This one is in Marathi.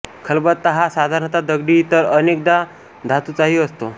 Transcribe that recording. खलबत्ता हा साधारण दगडी तर अनेकदा धातुचाही असतो